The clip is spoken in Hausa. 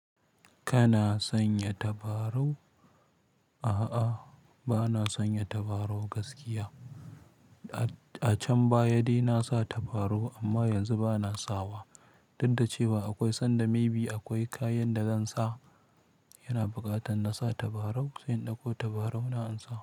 Kana sanya tabarau? A'a, ba na sanya tabarau gaskiya. A can baya dai na sa tabarau amma yanzu ba na sawa. Dudda cewa akwai sanda maybe akwai kayan da zan sa, yana buƙatan na sa tabarau, sai in ɗauko tabarau na in sa.